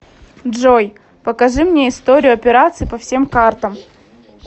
джой покажи мне историю операций по всем картам